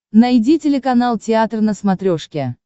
найди телеканал театр на смотрешке